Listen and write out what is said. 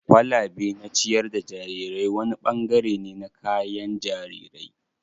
kwalabe na ciyar da jarirai wani bangare ne na kayan jarirai.